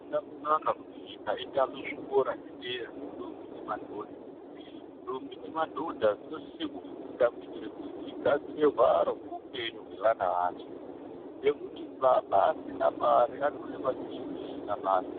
Hazvina kunaka kuti nyika itame zvikora zvedera zvendondombi nemadhodha. Ndombi nemadhodha dzinosise kufunda kuitire kuti dzigadzire hwaro hweupenyu hwevana vadzo, ngekuti baba asina mare anoonekwa sechiro chisina basa